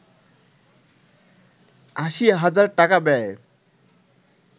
৮০ হাজার টাকা ব্যয়ে